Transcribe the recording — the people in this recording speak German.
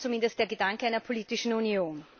Das ist zumindest der Gedanke einer politischen Union.